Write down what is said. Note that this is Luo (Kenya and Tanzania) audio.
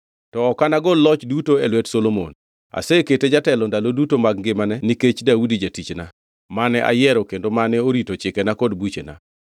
“ ‘To ok anagol loch duto e lwet Solomon, asekete jatelo ndalo duto mag ngimane nikech Daudi jatichna, mane ayiero kendo mane orito chikena kod buchena.